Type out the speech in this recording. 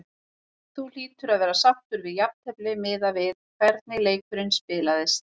Þú hlýtur að vera sáttur við jafntefli miðað við hvernig leikurinn spilaðist?